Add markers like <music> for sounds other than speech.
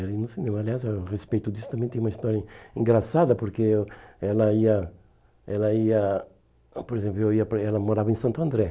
<unintelligible> Aliás, a respeito disso, também tem uma história engraçada, porque eh ela ia ela ia... Por exemplo, ela morava em Santo André.